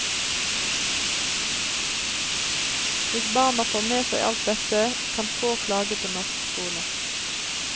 Hvis barna får med seg alt dette, kan få klage på norsk skole.